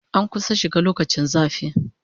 An kusan shiga lokacin zafi